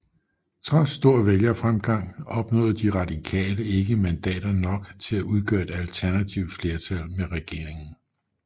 Trods stor vælgerfremgang opnåede De Radikale ikke mandater nok til at udgøre et alternativt flertal med regeringen